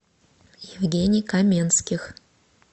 евгений каменских